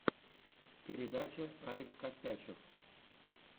передача алекс костячев